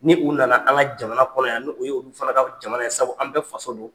Ni u nana an ka jamana kɔnɔ yan ni o y'olu fana ka jamana ye sabu an bɛɛ faso don.